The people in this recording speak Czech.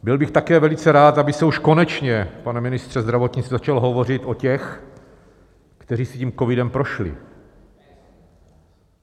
Byl bych také velice rád, aby se už konečně, pane ministře zdravotnictví, začalo hovořit o těch, kteří si tím covidem prošli.